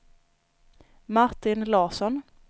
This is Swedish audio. Martin Larsson